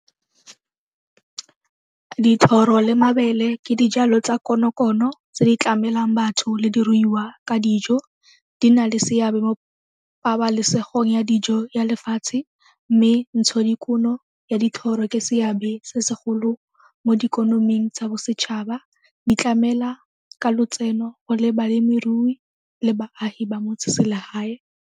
Dithoro le mabele ke dijalo tsa konokono tse di tlamelang batho le diruiwa ka dijo. Di na le seabe mo pabalesegong ya dijo ya lefatshe mme ntshodikuno ya dithoro ke seabe se segolo mo dikonoming tsa bosetšhaba di tlamela ka lotseno go le balemirui le baagi ba motse selegae.